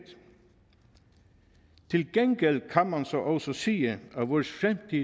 til gengæld kan man så også sige at vores